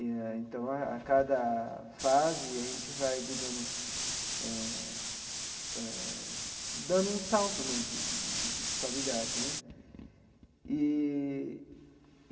Eh então, a cada fase, a gente vai, digamos, eh eh dando um salto né de de de de qualidade né eee.